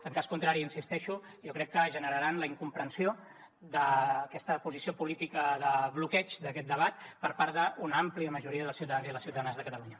en cas contrari hi insisteixo jo crec que generaran la incomprensió d’aquesta posició política de bloqueig d’aquest debat per part d’una àmplia majoria dels ciutadans i les ciutadanes de catalunya